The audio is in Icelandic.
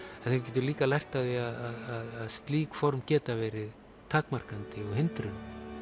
en þeir geta líka lært af því að slík form geta verið takmarkandi og hindrun